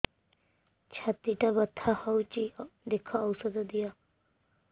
ଛାତି ଟା ବଥା ହଉଚି ଦେଖ ଔଷଧ ଦିଅ